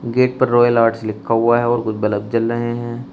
Gate पर royal art लिखा हुआ है और कुछ बल्ब जल रहे हैं।